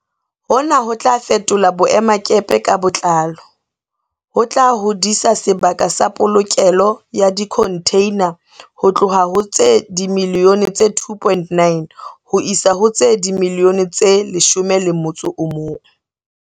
Hona ho tla fetola boemakepe ka botlalo, ho tla hodisa sebaka sa polokelo ya dikhontheina ho tloha ho tse dimiliyone tse 2.9 ho isa ho tse dimiliyone tse 11.